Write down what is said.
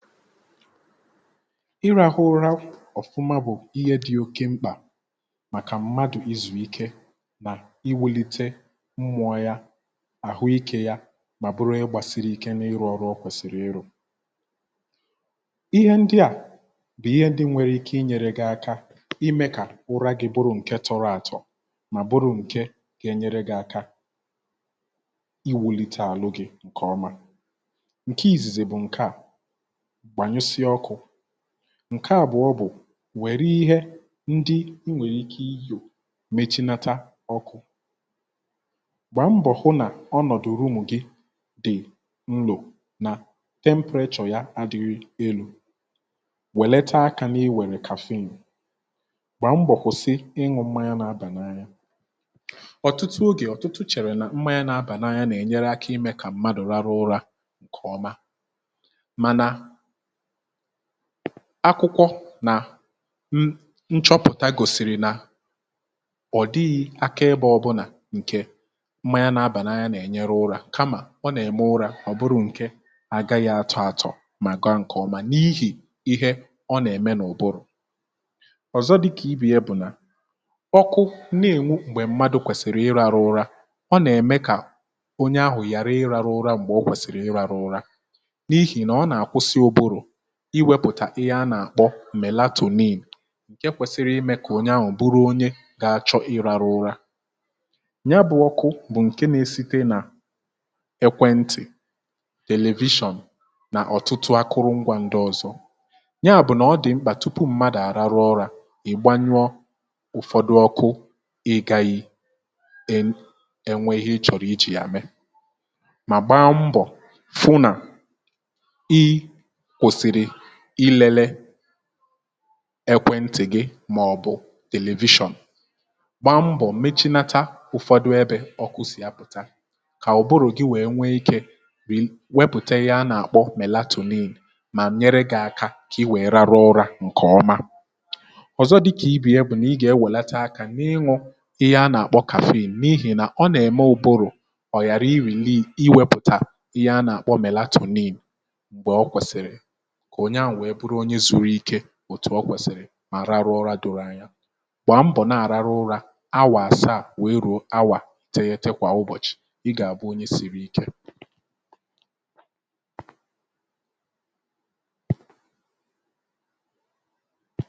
ịrȧhụ ụra ọ̀fụma bụ̀ ihe dị̇ oke mkpà màkà mmadụ̀ izùike nà iwulite mmụọ̇ ya, àhụ ikė ya mà bụrụ onye gbàsiri ike n’ịrụ̇ ọrụ ọ kwèsìrì ịrụ̇ ihe ndị à bụ̀ ihe ndị nwere ike inyėre gi̇ aka imė kà ụra gi̇ bụrụ̇ ǹke tọrọ àtọ̀ mà bụrụ̇ ǹke gà enyere gi̇ aka iwulite àlụ gi̇ ǹkè ọma ,ǹke ìzìzi bụ̀ ǹke à gbanyusia ọkụ, ǹke àbụọ bụ̀ nwèrè ihe ndị I wèrè ike iyò mechinatȧ ọkụ̇, gbàa mbọ̀ hụ nà ọnọ̀dụ̀ roomu gị dị̀ nlò nà temperachọ̀ ya adịrị elu̇, wèlete akȧ nà i wère kàfin gbaa mbọ kwụsị iñu mmanya na aba n'anya ọ̀tụtụ ogè ọ̀tụtụ chèrè nà mmanya nà abà n'anya nà-ènyere akȧ imė kà mmadụ̀ rara ụrȧ ǹkè ọma, mana akwụkwọ nà m nchọpụ̀ta gòsìrì nà ọ̀ dịghị akaebe ọbụlà ǹkè mmanya na-abà nà anyi nà-ènyere ụrȧ kamà ọ nà-ème ụrȧ ọ̀ bụrụ ǹkè agaghị atọ̀ àtọ̀ mà ga ǹkè ọma n’ihì ihe ọ nà-ème nà ụ̀bụrụ̀, ọ̀zọ dịkà ibe ya bụ̀ nà ọkụ na-ènwu m̀gbè mmadụ̀ kwèsìrì ịrȧrụ̇ ụra ọ nà-ème kà onye ahụ̀ ghara ịrȧrụ̇ ụra m̀gbè ọ kwèsìrì ịrȧrụ̇ ụra n'ihi na ọna akwusi ụbụrụ iwėpụ̀tà ihe a nà-àkpọ mèlatònìǹ nke kwẹsịrị imė kà onye ahụ̀ bụrụ onye gȧ-achọ i rȧrụ ụra ya bụ̇ ọkụ bụ̀ ǹke na-esite nà ẹkwẹntị, tèlevishọn nà ọ̀tụtụ akụrụngwȧ ndị ọ̇zọ̇ ya bụ̀ nà ọ dị̀ mkpà tupu m̀madụ̇ àrụrụ ura, ị̀gbanyụọ ụ̀fọdụ ọkụ ị gȧghi̇ en ẹnwẹ ihe ị chọ̀rọ̀ iji̇ yà mẹ̀e mà gbaa mbọ̀ fụ nà ikwusiri ịlele ekwẹ̇ntì gị màọ̀bụ̀ television, gbaa mbọ̀ mechinata ụfọdụ ebė ọkụ si apụta kà ụ̀bụrụ̀ gị wèe nwee ikė wepùta ihe anà-àkpọ mèlatonin mà nyere gị̇ aka kà i wèe raru ụrȧ ǹkè ọma, ọ̀zọ dịkà ibe ya bụ̀ nà ị gà-ewèlete aka n’ịñụ̇ ihe a nà-àkpọ kafin n’ihì nà ọ nà-ème ụ̀bụrụ̀ ọ̀yàra iri̇li iwėpụ̀tà ihe a nà-àkpọ mèlatonin ka okwesiri ka onye ahu buru onye zuru ike etu ọkwẹ̀sị̀rị̀ mà rarụ ụra doro anya gbaa mbọ̀ na-araru ụra awa asaa wee rùo awa ìteghite kwa ụbọchị ị ga-abụ onye siri ike